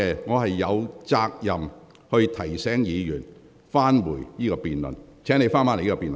我有責任提醒議員返回這項辯論的議題。